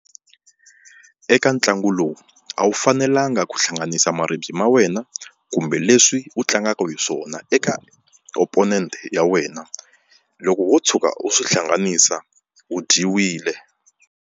Eka ntlangu lowu a wu fanelanga ku hlanganisa maribye ma wena kumbe leswi u tlangaka hi swona eka opponent ya wena, loko wo tshuka u swi hlanganisa u dyiwile.